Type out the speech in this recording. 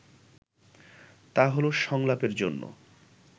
তা হলো সংলাপের জন্যে